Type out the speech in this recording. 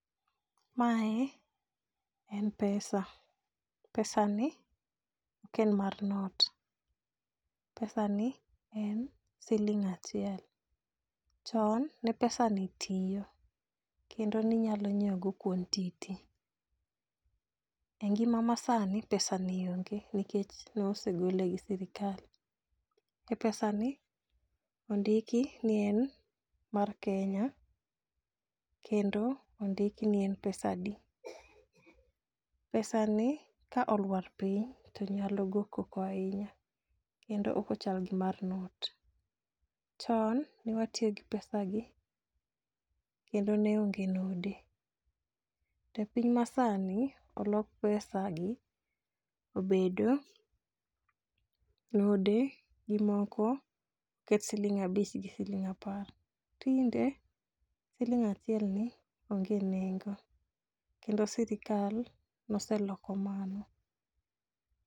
Mae en pesa. Pesani ok en mar not, pesani en siling' achiel, chon ne pesani tiyo kendo ninyalo nyiewogo quantity. E ngima ma sani, pesani onge nikech nosegole gi sirikal. e pesani indiki ne en mar Kenya kendo ondik ni en pesadi. Pesani ka olwar piny to nyalo go koko ahinya kendo ok ochal gi mar not. Chon ne watiyo gi pesagi kendo ne onge node. To piny masani olok pesa gi obedo node gi moko, oket siling' abich gi siling' apar. Tinde siling' achielni onge nengo ,kendo sirikal noseloko mano.